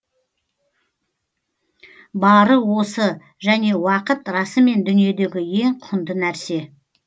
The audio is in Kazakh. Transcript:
бары осы және уақыт расымен дүниедегі ең құнды нәрсе